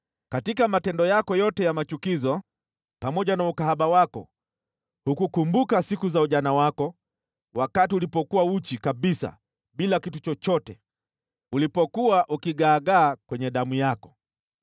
Katika matendo yako yote ya machukizo, pamoja na ukahaba wako hukukumbuka siku za ujana wako, wakati ulipokuwa uchi kabisa bila kitu chochote, ulipokuwa ukigaagaa kwenye damu yako.